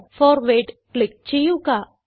forward click ചെയ്യുക